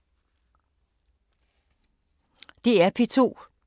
DR P2